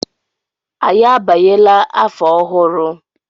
Anyị abanyela afọ ọhụrụ.